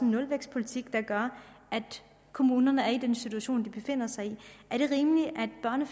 nulvækstpolitik der gør at kommunerne er i den situation de befinder sig i er det